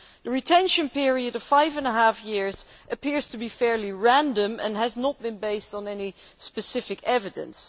The retention period of five and a half years appears to be fairly random, and was not based on any specific evidence.